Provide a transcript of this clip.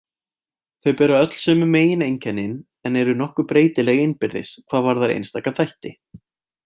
Þau bera öll sömu megineinkennin en eru nokkuð breytileg innbyrðis hvað varðar einstaka þætti.